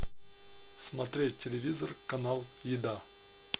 смотреть телевизор канал еда